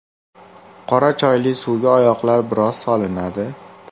Qora choyli suvga oyoqlar biroz solinadi.